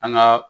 An ga